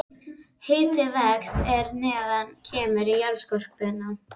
Hitinn vex er neðar kemur í jarðskorpuna.